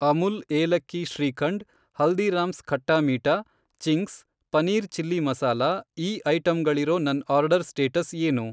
ಅಮುಲ್ ಏಲಕ್ಕಿ shrikhand, Haldiram's Khatta Meetha, Ching's, paneer chilli masala ಈ ಐಟಂಗಳಿರೋ ನನ್ ಆರ್ಡರ್ ಸ್ಟೇಟಸ್ ಏನು?